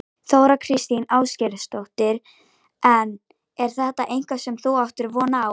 Þóra Kristín Ásgeirsdóttir: En er þetta eitthvað sem þú áttir von á?